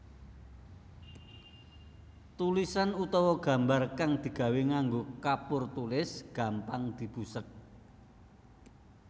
Tulisan utawa gambar kang digawé nganggo kapur tulis gampang dibusek